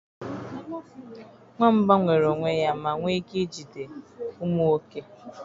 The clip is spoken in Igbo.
Nwamba nwere onwe ya ma nwee ike ijide ụmụ oke